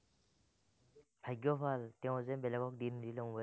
ভাগ্য ভাল, তেওঁ যে বেলেগক দি নিদিলে মোবাইলটো।